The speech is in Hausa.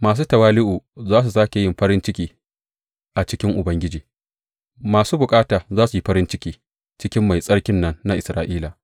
Masu tawali’u za su sāke yin farin ciki a cikin Ubangiji; mabukata za su yi farin ciki cikin Mai Tsarkin nan na Isra’ila.